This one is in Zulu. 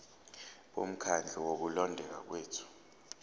bomkhandlu wokulondeka kwethu